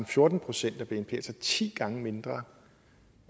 fjorten procent af bnp altså ti gange mindre